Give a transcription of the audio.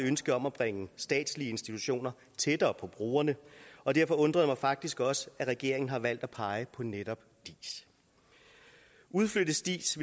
ønske om at bringe statslige institutioner tættere på brugerne og derfor undrer det mig faktisk også at regeringen har valgt at pege på netop diis udflyttes diis